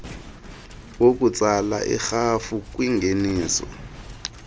wokutsala irhafu kwingeniso